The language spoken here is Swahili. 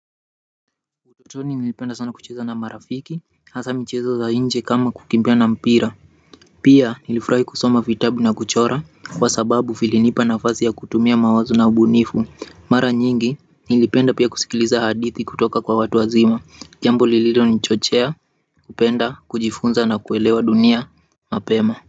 Utotoni nilipenda sana kucheza na marafiki, hasa michezo za inje kama kukimbia na mpira pia nilifurahi kusoma vitabu na kuchora kwa sababu vilinipa nafasi ya kutumia mawazo na ubunifu mara nyingi nilipenda pia kusikiliza hadithi kutoka kwa watu wazima, jambo lililo nichochea, kupenda, kujifunza na kuelewa dunia, mapema.